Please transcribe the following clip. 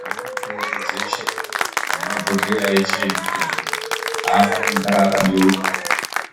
Munogare mitombo dzeshe nemabhohleya eshe emitombo afaniri kugara akabeuka